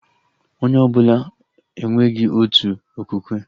Onye ọbụla enweghị otu okwukwe